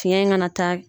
Fiɲɛ in kana ta